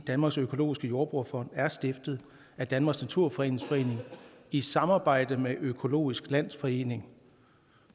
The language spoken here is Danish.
danmarks økologiske jordbrugerfond den er stiftet af danmarks naturfredningsforening i samarbejde med økologisk landsforening